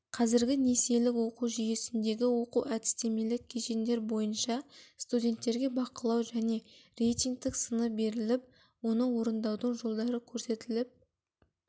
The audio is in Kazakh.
қазіргі несиелік оқу жүйесіндегі оқу әдістемелік кешендер бойынша студенттерге бақылау және рейтінгтік сыны беріліп оны орындаудың жолдары көрсетіліп